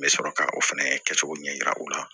N bɛ sɔrɔ ka o fɛnɛ kɛcogo ɲɛ yira u la